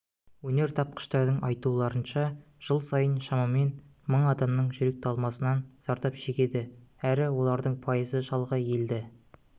өнертапқыштардың айтуларынша жыл сайын шамамен мың адамның жүрек талмасынан зардап шегеді әрі олардың пайызы шалғай елді